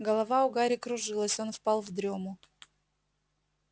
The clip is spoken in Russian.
голова у гарри кружилась он впал в дрёму